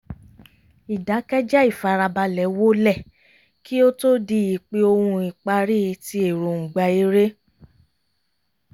ìdákẹ́jẹ́ ìfarabalẹ̀ wólẹ̀ kí ó tó di ípè-ohùn ìpárí ti èròǹgbà eré